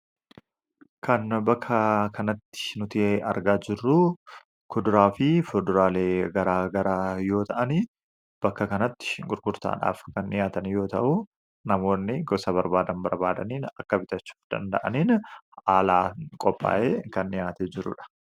Kan bakka kanatti argaa jirru kuduraa fi fuduraalee gara garaa yoo ta’an, bakka kanatti gurgurtaadhaaf kan dhiyaatan yoo ta’u namoonni gosa barbaadan bitatanii filatanii haala bitachuu danda’aniin kan qophaa'edha.